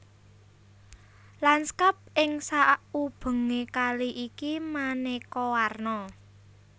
Lanskap ing saubengé kali iki manéka warna